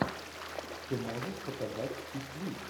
ты можешь показать чик флик